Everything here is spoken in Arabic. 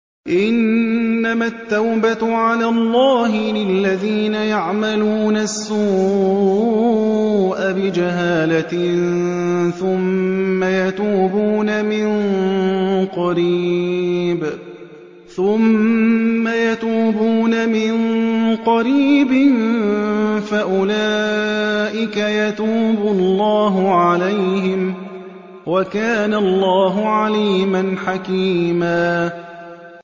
إِنَّمَا التَّوْبَةُ عَلَى اللَّهِ لِلَّذِينَ يَعْمَلُونَ السُّوءَ بِجَهَالَةٍ ثُمَّ يَتُوبُونَ مِن قَرِيبٍ فَأُولَٰئِكَ يَتُوبُ اللَّهُ عَلَيْهِمْ ۗ وَكَانَ اللَّهُ عَلِيمًا حَكِيمًا